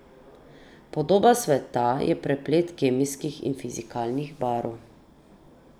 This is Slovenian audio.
Podoba sveta je preplet kemijskih in fizikalnih barv.